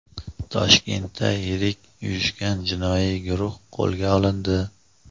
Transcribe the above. Toshkentda yirik uyushgan jinoiy guruh qo‘lga olindi.